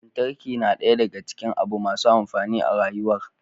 Lantarki na daya daka cikin abu masu amfani a rayuwar